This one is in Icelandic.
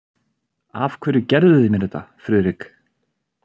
Af hverju gerðuð þið mér þetta, Friðrik?